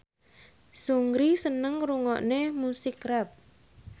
Seungri seneng ngrungokne musik rap